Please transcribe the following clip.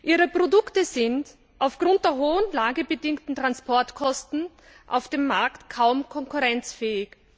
Ihre Produkte sind aufgrund der hohen lagebedingten Transportkosten auf dem Markt kaum konkurrenzfähig.